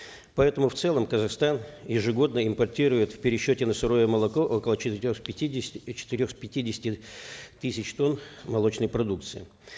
поэтому в целом казахстан ежегодно импортирует в пересчете на сырое молоко около четырех пятидесяти и четырех пятидесяти тысяч тонн молочной продукции